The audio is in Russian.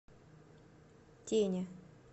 тене